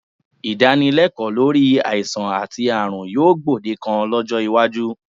Ìdánilẹ́kọ̀ọ́ lórí àìsàn àti ààrùn yóò gbòdekan lọ́jọ́ iwájú